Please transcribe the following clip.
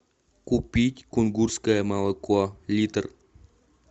купить кунгурское молоко литр